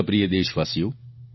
મારા પ્રિય દેશવાસીઓ